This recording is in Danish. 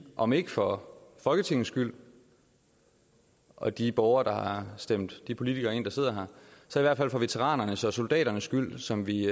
om ikke for folketingets skyld og de borgere der har stemt de politikere ind der sidder her så i hvert fald for veteranernes og soldaternes skyld dem som vi